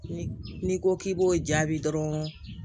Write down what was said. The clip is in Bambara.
Ni n'i ko k'i b'o jaabi dɔrɔn